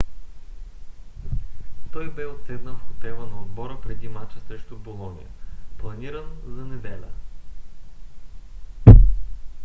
той бе отседнал в хотела на отбора преди мача срещу болоня планиран за неделя